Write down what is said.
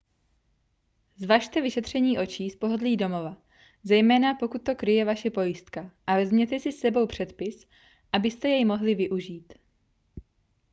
zvažte vyšetření očí z pohodlí domova zejména pokud to kryje vaše pojistka a vezměte si s sebou předpis abyste jej mohli využít